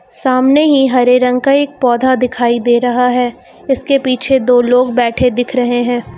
सामने ही हरे रंग का एक पौधा दिखाई दे रहा है इसके पीछे दो लोग बैठे दिख रहे हैं।